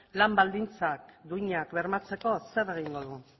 lan baldintza duinak bermatzeko zer egingo du